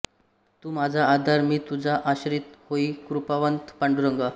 तू माझा आधार मी तुझा आश्रीत होई कृपावंत पांडुरंगा